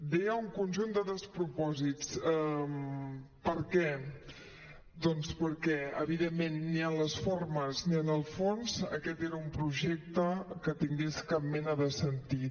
deia un conjunt de despropòsits per què doncs perquè evidentment ni en les formes ni en el fons aquest era un projecte que tingués cap mena de sentit